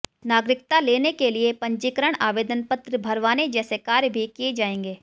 नागरिकता लेने के लिए पंजीकरण आवेदन पत्र भरवाने जैसे कार्य भी किए जाएंगे